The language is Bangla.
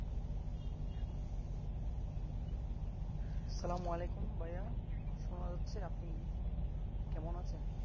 আসসালাম আলাইকুম ভাইয়া শোনা যাচ্ছে আপনি কেমন আছেন?